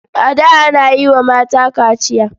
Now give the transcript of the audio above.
A da ana yi wa mata kachiya.